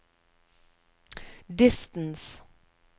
distance